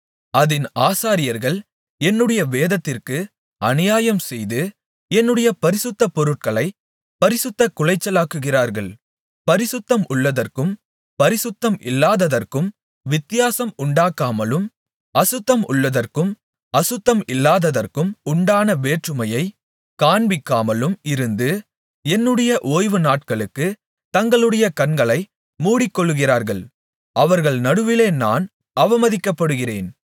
அதின் ஆசாரியர்கள் என்னுடைய வேதத்திற்கு அநியாயம்செய்து என்னுடைய பரிசுத்த பொருட்களைப் பரிசுத்தக் குலைச்சலாக்குகிறார்கள் பரிசுத்தம் உள்ளதற்கும் பரிசுத்தம் இல்லாததற்கும் வித்தியாசம் உண்டாக்காமலும் அசுத்தம் உள்ளதற்கும் அசுத்தம் இல்லாததற்கும் உண்டான வேற்றுமையைக் காண்பிக்காமலும் இருந்து என்னுடைய ஓய்வுநாட்களுக்குத் தங்களுடைய கண்களை மூடிக்கொள்ளுகிறார்கள் அவர்கள் நடுவிலே நான் அவமதிக்கப்படுகிறேன்